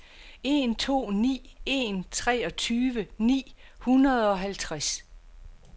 en to ni en treogtyve ni hundrede og halvtreds